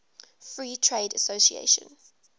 free trade association